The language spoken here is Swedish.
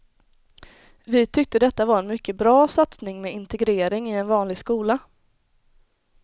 Vi tyckte detta var en mycket bra satsning med integrering i en vanlig skola.